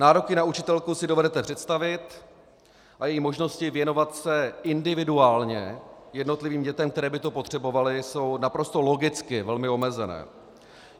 Nároky na učitelku si dovedete představit a její možnosti věnovat se individuálně jednotlivým dětem, které by to potřebovaly, jsou naprosto logicky velmi omezené.